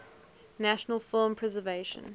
national film preservation